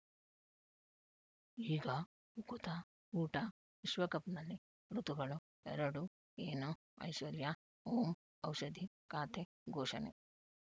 ಈಗ ಉಕುತ ಊಟ ವಿಶ್ವಕಪ್‌ನಲ್ಲಿ ಋತುಗಳು ಎರಡು ಏನು ಐಶ್ವರ್ಯಾ ಓಂ ಔಷಧಿ ಖಾತೆ ಘೋಷಣೆ